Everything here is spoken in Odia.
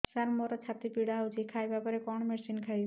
ସାର ମୋର ଛାତି ପୀଡା ହଉଚି ଖାଇବା ପରେ କଣ ମେଡିସିନ ଖାଇବି